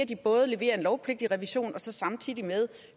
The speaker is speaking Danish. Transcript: de både leverer en lovpligtig revision og samtidig